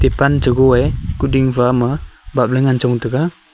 pan che goye kuding fa ama bapley ngan chong taga.